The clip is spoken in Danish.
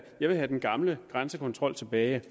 jeg vil have den gamle grænsekontrol tilbage